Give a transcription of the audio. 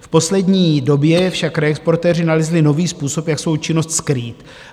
V poslední době však reexportéři nalezli nový způsob, jak svou činnost skrýt.